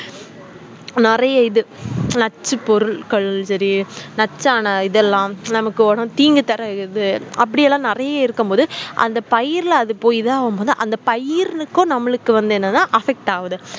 நெறைய இது நச்சு பொருட்கள் செரி நச்சான இத்தளம் நமக்கு தீங்கு தர இது அபுடிலாம் நெறைய இருக்கும் பொது அந்த பயிறுல அது போய் தான் அந்த பயிருக்கும் நம்மளுக்கு என்னனா affect ஆகுது